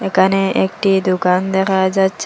এখানে একটি দোকান দেখা যাচ্ছে।